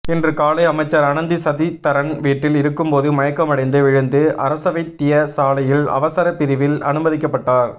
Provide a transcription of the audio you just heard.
இன்று காலை அமைச்சர் அனந்தி சசிதரன் வீட்டில் இருக்கும் போது மயக்கம்மடைந்து விழுந்து அரசவைத்தியசாலையில் அவசர பிரிவில் அனுமதிக்கப்பட்டார்